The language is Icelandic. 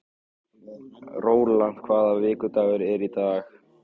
Rólant, hvaða vikudagur er í dag?